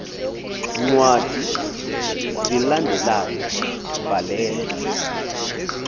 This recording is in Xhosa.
ncwadi zilandelayo bhalela